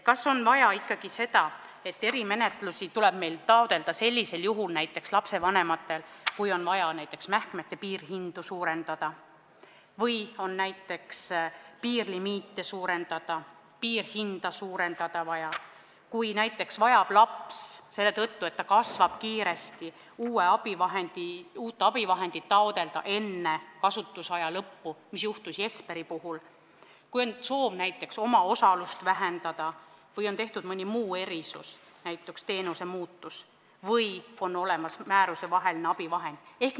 Kas on vaja erimenetlust taotleda näiteks sellisel juhul, kui on vaja mähkmete piirhinda või piirlimiiti suurendada, siis, kui laps vajab selle tõttu, et ta kiiresti kasvab, uut abivahendit enne eelmise kasutusaja lõppu, nagu juhtus Jesperiga, siis, kui on soov näiteks omaosalust vähendada või on tehtud mõni muu erisus, näiteks teenus on muutunud, või siis, kui on olemas määruseväline abivahend?